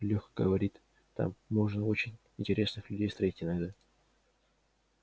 лёха говорит там можно очень интересных людей встретить иногда